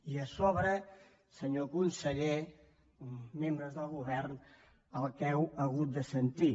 i a sobre senyor conseller membres del govern el que heu hagut de sentir